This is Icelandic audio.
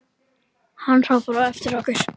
Hann hrópaði á eftir okkur.